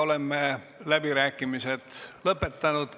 Oleme läbirääkimised lõpetanud.